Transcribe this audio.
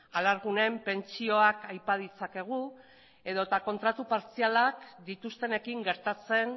alargunen pentsioak aipa ditzakegu edota kontratu partzialak dituztenekin gertatzen